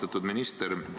Austatud minister!